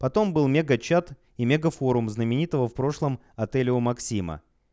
потом был мега чат и мега форум знаменитого в прошлом отеля у максима